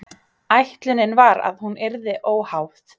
Ætlunin var að hún yrði óháð